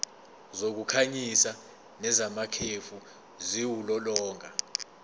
zokukhanyisa nezamakhefu ziwulolonga